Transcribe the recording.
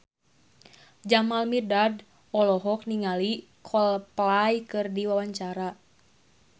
Jamal Mirdad olohok ningali Coldplay keur diwawancara